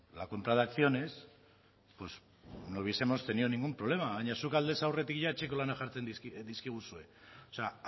la compra de acciones pues no hubiesemos tenido ningún problema baina zuk aldez aurretik ia etxeko lanak jartzen dizkiguzue o sea